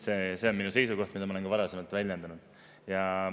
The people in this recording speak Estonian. See on minu seisukoht, mida ma olen ka varasemalt väljendanud.